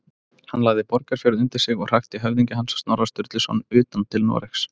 Hann lagði Borgarfjörð undir sig og hrakti höfðingja hans, Snorra Sturluson, utan til Noregs.